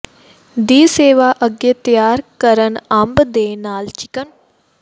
ਦੀ ਸੇਵਾ ਅੱਗੇ ਤਿਆਰ ਕਰਨ ਅੰਬ ਦੇ ਨਾਲ ਚਿਕਨ